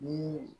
Ni